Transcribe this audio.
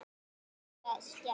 Finnur sagðist gera það.